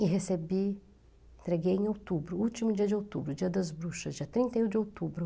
E recebi, entreguei em outubro, último dia de outubro, dia das bruxas, dia trinta e um de outubro.